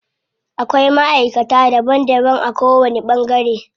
Akwai maʼaikata daban daban a ko wani ɓangare.